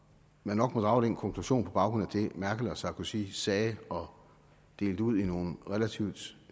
man nok må drage den konklusion på baggrund af det merkel og sarkozy sagde og delte ud i nogle relativt